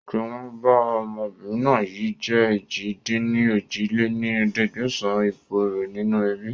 Tìwọ̀n bá ọmọbìnrin náà yìí jẹ̀ èjì-dín-ní-ojì lé ní ẹ̀ẹ́dẹ́gbẹ́sán ipò rẹ nínú ẹbí